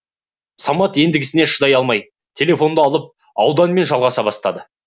самат ендігісіне шыдай алмай телефонды алып ауданмен жалғаса бастады